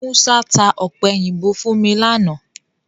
Musa tá ọ̀pẹ̀yìnbo fún mi láánaà